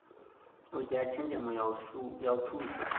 u dzhia tshenzhemo ya thusa